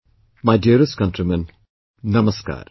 My dearest countrymen namaskar